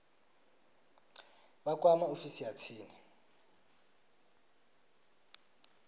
vha kwame ofisi ya tsini